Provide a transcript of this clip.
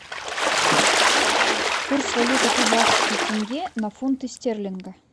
курс валюты казахский тенге на фунты стерлинга